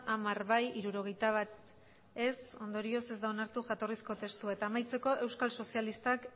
hamar bai hirurogeita bat ez ondorioz ez da onartu jatorrizko testua eta amaitzeko euskal sozialistak